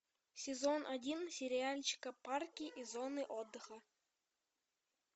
сезон один сериальчика парки и зоны отдыха